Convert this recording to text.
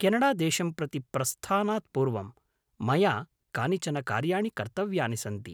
केनडादेशं प्रति प्रस्थानात् पूर्वं मया कानिचन कार्याणि कर्तव्यानि सन्ति।